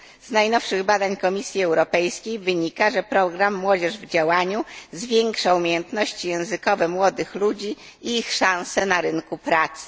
Z najnowszych badań Komisji Europejskiej wynika, że program Młodzież w działaniu zwiększa umiejętności językowe młodych ludzi i ich szanse na rynku pracy.